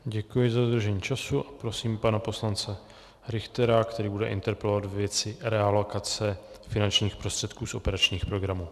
Děkuji za dodržení času a prosím pana poslance Richtera, který bude interpelovat ve věci realokace finančních prostředků z operačních programů.